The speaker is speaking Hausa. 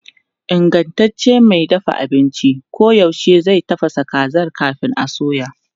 Ingantaccen mai dafa abinci koyaushe zai tafasa kazar kafin a soya.